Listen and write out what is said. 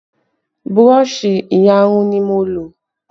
Burọ̀ṣì iyarun ni mo lò